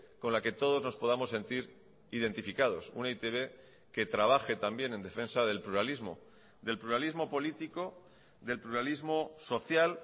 con la que todos nos podamos sentir identificados una e i te be que trabaje también en defensa del pluralismo del pluralismo político del pluralismo social